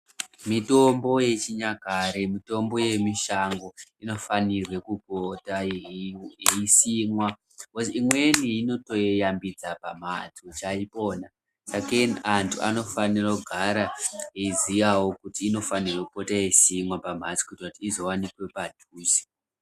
Mitombo yechinyakare mitombo yemushango inifanirwe kupota yeisimwa imweni inotoyeyambida pambatso saka antu anofanira kugara eiziya kuti inofanirwa kupota yeisimwa pamhatso kuti izowanikwe padhuze.